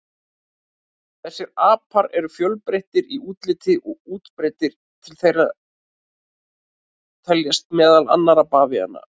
Þessir apar eru fjölbreyttir í útliti og útbreiddir, til þeirra teljast meðal annarra bavíanar.